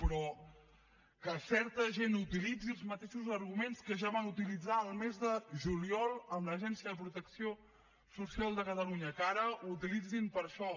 però que certa gent utilitzi els mateixos arguments que ja van utilitzar el mes de juliol amb l’agència de protecció social de catalunya que ara ho utilitzin per a això